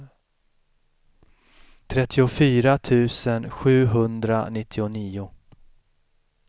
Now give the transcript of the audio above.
trettiofyra tusen sjuhundranittionio